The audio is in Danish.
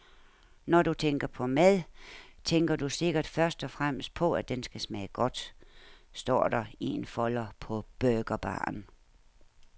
Når du tænker på mad, tænker du sikkert først og fremmest på, at den skal smage godt, står der i en folder på burgerbaren.